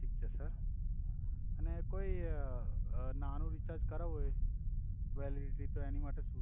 thick છે sir અને કોઇ નાનુ રીચાર્જ કરાવુ હોય વેલિડીટી તો એની માટે સુ